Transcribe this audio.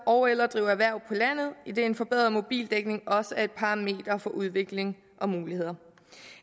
ogeller drive erhverv på landet idet en forbedret mobildækning også er et parameter for udvikling og muligheder